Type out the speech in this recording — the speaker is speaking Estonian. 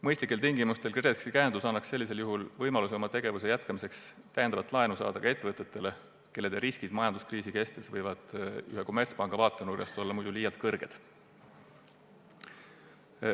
Mõistlikel tingimustel pakutav KredExi käendus annaks sellisel juhul võimaluse oma tegevuse jätkamiseks täiendavat laenu saada ka nendel ettevõtetel, kelle riskid majanduskriisi kestes võivad ühe kommertspanga vaatenurgast olla muidu liialt suured.